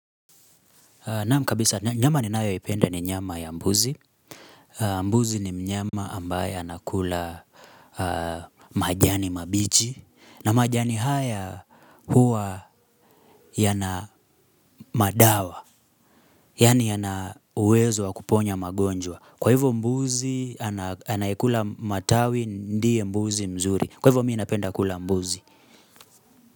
Naam kabisa nyama ninayoipenda ni nyama ya mbuzi mbuzi ni mnyama ambaye anakula majani mabichi na majani haya huwa yana madawa Yaani yana uwezo wa kuponya magonjwa. Kwa hivyo mbuzi anayekula matawi ndiye mbuzi mzuri. Kwa hivyo mimi ninapenda kula mbuzi.